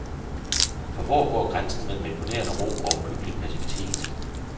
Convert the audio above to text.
For hvor går grænsen mellem imponerende ro og uhyggelig passivitet?